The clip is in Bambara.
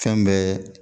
Fɛn bɛɛ